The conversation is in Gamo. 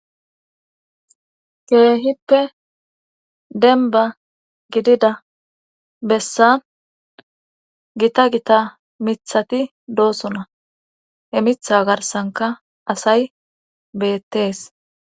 Keehippe denba gidida bessa gita gita mithati doosona he mitha garsanka asay beettees.